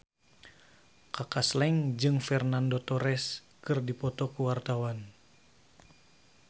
Kaka Slank jeung Fernando Torres keur dipoto ku wartawan